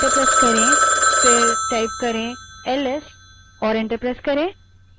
उसके बाद ls type करें और enter दबायें